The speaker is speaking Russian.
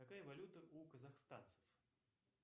какая валюта у казахстанцев